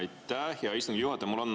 Aitäh, hea istungi juhataja!